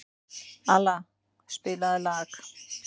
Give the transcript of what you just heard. Alla, spilaðu lag.